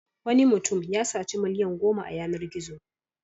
Wani mutum ya saci miliyan goma a yanar-gizo.